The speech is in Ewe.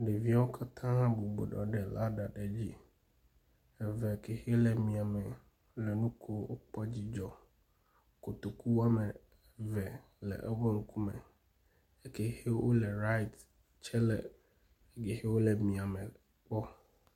Ɖeviwo katã bɔbɔ nɔ anyi ɖe laɖa aɖe dzi. Eve ke hele mia me le nu kom. Wokpɔ dzidzɔ. Kotoku wome eve le woƒe ŋkume. Eke hewo le riat tsɛ le heyi ke le mia me kpɔm.